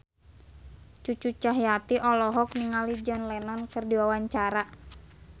Cucu Cahyati olohok ningali John Lennon keur diwawancara